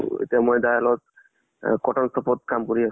অ এতিয়া মই তাৰ লগত আ কাম কৰি আছো ।